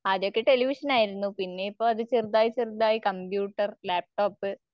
ആദ്യോക്കെ ടെലിവിഷനായിരുന്നു പിന്നെഇപ്പൊ അത് ചെറുതായി ചെറുതായി കമ്പ്യൂട്ടർ, ലാപ്ടോപ്